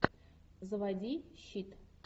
заводи щит